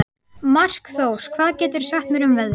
Markþór, hvað geturðu sagt mér um veðrið?